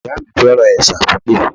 Ìyá mi fẹ́ràn ẹ̀sà pípé